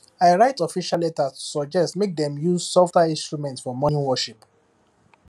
i write official letter to suggest make dem use softer instrument for morning worship